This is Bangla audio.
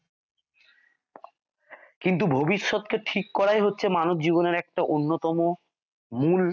কিন্তু ভবিষ্যৎ কে ঠিক করাই হচ্ছে মানবজীবনের একটা অন্যতম মূল।